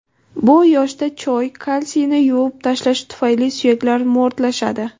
Bu yoshda choy kalsiyni yuvib tashlashi tufayli suyaklar mo‘rtlashadi.